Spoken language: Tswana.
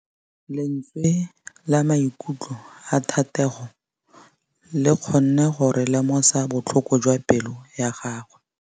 Lentswe la maikutlo a Thategô le kgonne gore re lemosa botlhoko jwa pelô ya gagwe.